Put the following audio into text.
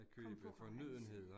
Komme på rejse